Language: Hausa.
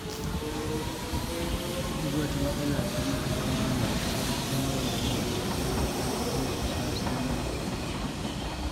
Duk wata matsala tana zama mai sauƙin wawarwarewa, matuƙar ƴan wasa sun yi aiki tare.